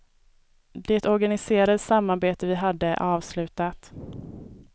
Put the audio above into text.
Det organiserade samarbete vi hade är avslutat.